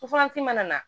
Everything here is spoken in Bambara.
mana na